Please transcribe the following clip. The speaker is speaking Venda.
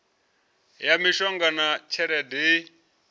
ya mishumo na tshelede i